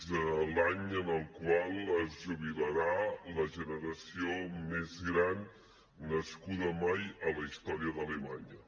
és l’any en el qual es jubilarà la generació més gran nascuda mai a la història d’alemanya